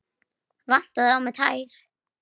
Vantaði á mig tær?